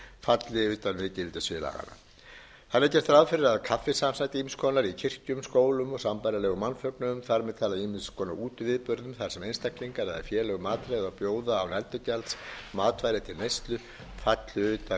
falli utan gildissviðs laganna þannig er gert ráð fyrir að kaffisamsæti ýmiss konar í kirkjum skólum og sambærilegum mannfögnuðum þar með talið ýmiss konar útiviðburðum þar sem einstaklingar eða félög matreiða og bjóða án endurgjalds matvæli til neyslu falli utan